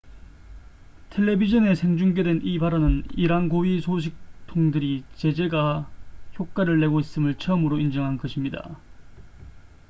텔레비전에 생중계된 이 발언은 이란 고위 소식통들이 제재가 효과를 내고 있음을 처음으로 인정한 것입니다